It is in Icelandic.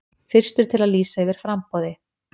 Fyrstur til að lýsa yfir framboði